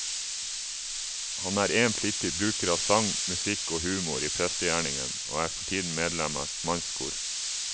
Han er en flittig bruker av sang, musikk og humor i prestegjerningen, og er for tiden medlem av et mannskor.